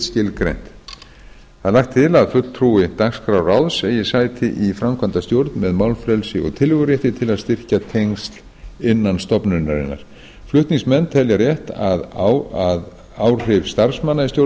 skilgreint lagt er til að fulltrúi dagskrárráðs eigi sæti í framkvæmdastjórn með málfrelsi og tillögurétt til að styrkja tengsl innan stofnunarinnar flutningsmenn telja rétt að áhrif starfsmanna í stjórn